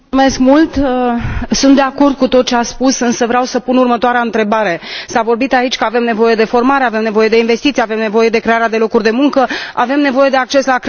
Sunt de acord cu tot ce a spus, însă vreau să pun următoarea întrebare s a vorbit aici că avem nevoie de formare, avem nevoie de investiții, avem nevoie de crearea de locuri de muncă, avem nevoie de acces la credit pentru IMM uri.